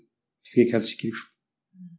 бізге қазір керек жоқ